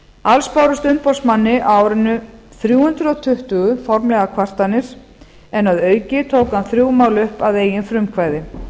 alls bárust umboðsmanni á árinu þrjú hundruð tuttugu formlegar kvartanir en að auki tók hann þrjú mál upp að eigin frumkvæði